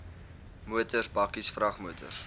motors bakkies vragmotors